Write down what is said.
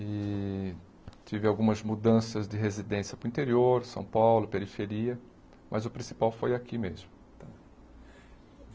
E tive algumas mudanças de residência para o interior, São Paulo, periferia, mas o principal foi aqui mesmo.